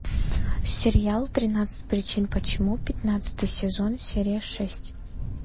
сериал тринадцать причин почему пятнадцатый сезон серия шесть